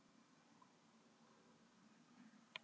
Fyrsta skrefið í þá átt væri að segja skilið við kónginn.